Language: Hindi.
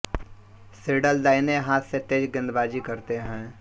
सिडल दाईनें हाथ से तेज गेंदबाजी करते हैं